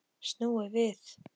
Snúið við.